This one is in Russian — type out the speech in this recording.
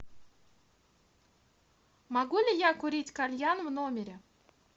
могу ли я курить кальян в номере